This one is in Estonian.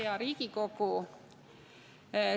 Hea Riigikogu!